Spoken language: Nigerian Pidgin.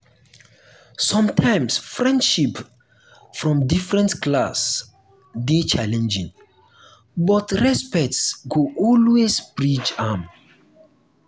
sometimes friendship from different class dey challenging but respect go always bridge am.